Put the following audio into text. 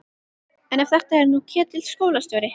En ef þetta er nú Ketill skólastjóri!